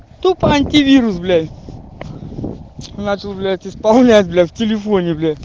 тупо антивирус блять начал блять исполнять бля в телефоне бля